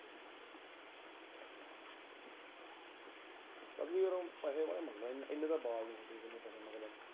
ਯਰ ਉਹ ਪੈਸੇ ਬੜੇ ਮੰਗ ਏਨੇ ਤਾਂ ਵੱਲ ਨਹੀਂ ਜਿੰਨੇ ਉਹ ਪੈਸੇ ਮੰਗਦਾ।